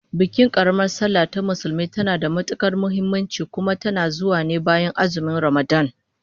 Bikin karamar sallah ta Musulmi tana da matukar muhimmanci, kuma tana zuwa ne bayan azumin Ramadan